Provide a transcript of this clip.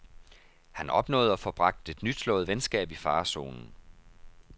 Han opnåede at få bragt et nyslået venskab i farezonen.